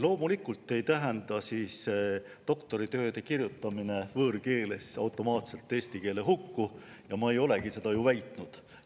Loomulikult ei tähenda doktoritööde kirjutamine võõrkeeles automaatselt eesti keele hukku ja ma ei olegi seda ju väitnud.